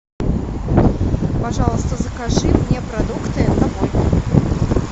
пожалуйста закажи мне продукты домой